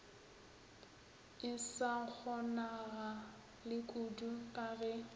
e sa kgonagalekudu ka ge